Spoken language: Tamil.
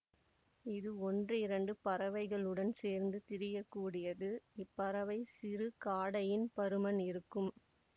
இது ஒன்றிரண்டு பறவைகளுடன் சேர்ந்து திரியக்கூடியது இப்பறவை சிறு காடையின் பருமன் இருக்கும்